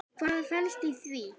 Hvað felst í því?